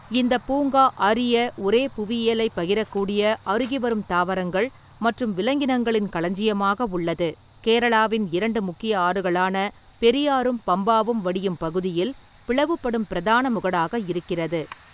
இந்தப் பூங்கா அரிய, ஒரே புவியியலைப் பகிரக்கூடிய அருகிவரும் தாவரங்கள் மற்றும் விலங்கினங்களின் களஞ்சியமாக உள்ளது, கேரளாவின் இரண்டு முக்கிய ஆறுகளான பெரியாரும் பம்பாவும் வடியும் பகுதியில் பிளவுபடும் பிரதான முகடாக இருக்கிறது.